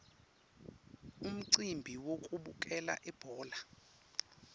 umcimbi wekubukela ibhola